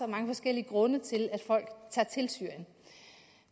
mange forskellige grunde til at folk tager til syrien